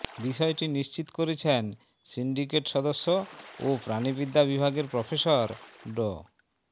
বিষয়টি নিশ্চিত করেছেন সিন্ডিকেট সদস্য ও প্রাণিবিদ্যা বিভাগে প্রফেসর ড